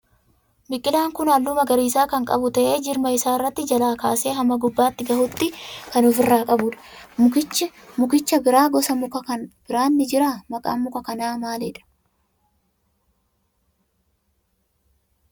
Biqilaan kun halluu magariisa kan qabu ta'ee jirma isaa irratti jalaa kaasee hamma gubbaa gahutti kan ofirraa qabudha. Mukicha bira gosa mukaa kan biraan ni jira. Maqaan muka kanaa maalidhaa?